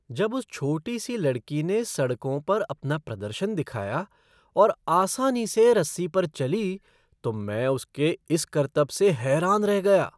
जब उस छोटी सी लड़की ने सड़कों पर अपना प्रदर्शन दिखाया और आसानी से रस्सी पर चली तो मैं उसके इस करतब से हैरान रह गया।